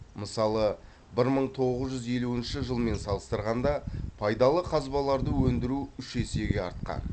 мысалы бір мың тоғыз жүз елуінші жылмен салыстырғанда пайдалы қазбаларды өндіру үш есеге артқан